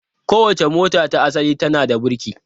Kowace mota ta asali tana da birki.